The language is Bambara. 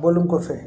Bɔlen kɔfɛ